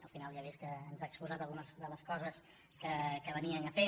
al final ja he vist que ens ha exposat algunes de les coses que venien a fer